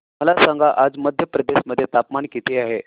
मला सांगा आज मध्य प्रदेश मध्ये तापमान किती आहे